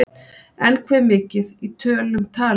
En hve mikið, í tölum talið?